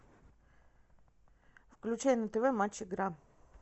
включай на тв матч игра